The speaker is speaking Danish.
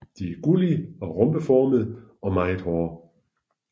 De er gullige og rombeformede og meget hårde